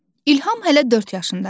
İlham hələ dörd yaşındadır.